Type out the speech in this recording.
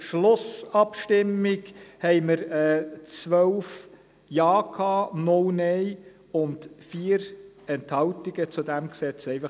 Durchführung einer zweiten Lesung gemäss Artikel 98 Absatz 2